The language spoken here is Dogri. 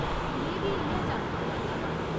में बी इ'यै जानना चांह्दा हा।